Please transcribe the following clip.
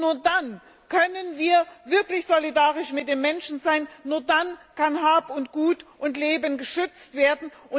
Nur dann können wir wirklich solidarisch mit den Menschen sein, nur dann können Hab, Gut und Leben geschützt werden.